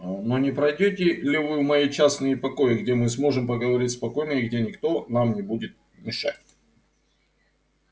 но не пройдёте ли вы в мои частные покои где мы сможем поговорить спокойно и где никто нам не будет мешать